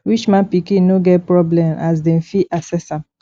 rich man pikin no get problem as dem fit access am